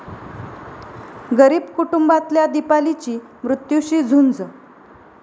गरीब कुटुंबातल्या दीपालीची मृत्यूशी झुंज